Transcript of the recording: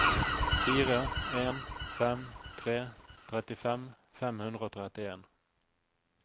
fire en fem tre trettifem fem hundre og trettien